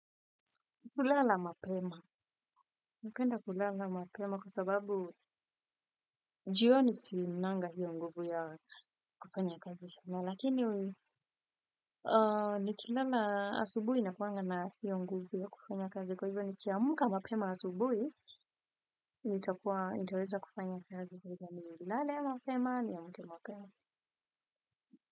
Kulala mapema. Napenda kulala mapema kwa sababu, jioni sinanga hiyo nguvu ya kufanya kazi sana. Lakini, nikilala asubuhi nakuanga na hiyo nguvu ya kufanya kazi kwa hivyo nikiamka mapema asubuhi, nitakuwa nitaweza kufanya kazi kwa hivyo nilale mapema ni amke mapema.